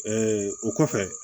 o kɔfɛ